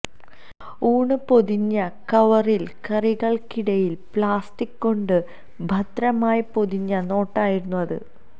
ഊണ് പൊതിഞ്ഞ കവറില് കറികള്ക്കിടയില് പ്ലാസ്റ്റിക് കൊണ്ട് ഭദ്രമായി പൊതിഞ്ഞ നോട്ടായിരുന്നു അത്